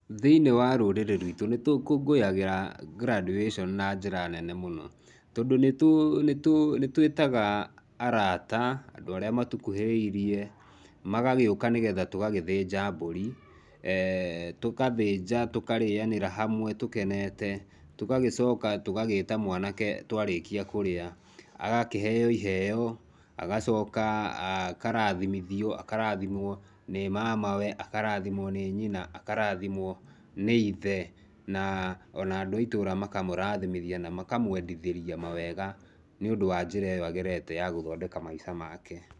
Thĩini wa rũrĩrĩ rwitũ ni tũkũngũĩyagĩra graduation na njĩra nene mũno tondũ nĩ tũ, nĩ tũ, nĩtũĩtaga arata, andũ arĩa matũkuhĩrĩirie, magagũĩka nĩgetha tũgagĩthĩnja mbũri, tũkathinja, tũkarĩanĩra hamwe, tũkeneta, tũgagĩcoka tũgagíĩta mwanake twarĩkia kũrĩa, agakĩheo iheo agacoka akarathimithio, akarathimwo nĩ mamawe, akarathimwo nĩ nyina, akarathimwo nĩ ithe, na ona andũ a itũra makamũrathimithia makamwendithĩria mawega nĩũndũ wa njĩra ĩyo agerete ya gũthondeka maica make.